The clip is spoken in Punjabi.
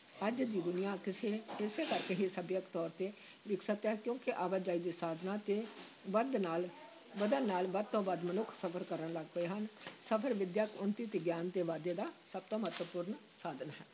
ਅੱਜ ਦੀ ਦੁਨੀਆ ਕਿਸੇ ਇਸੇ ਕਰਕੇ ਹੀ ਸਭਿਅਕ ਤੌਰ ‘ਤੇ ਵਿਕਸਿਤ ਹੈ, ਕਿਉਂਕਿ ਆਵਾਜਾਈ ਦੇ ਸਾਧਨਾਂ ਦੇ ਵੱਧ ਨਾਲ ਵੱਧਣ ਨਾਲ ਵੱਧ ਤੋਂ ਵੱਧ ਮਨੁੱਖ ਸਫ਼ਰ ਕਰਨ ਲੱਗ ਪਏ ਹਨ ਸਫ਼ਰ ਵਿੱਦਿਅਕ ਉੱਨਤੀ ਤੇ ਗਿਆਨ ਦੇ ਵਾਧੇ ਦਾ ਸਭ ਤੋਂ ਮਹੱਤਵਪੂਰਨ ਸਾਧਨ ਹੈ।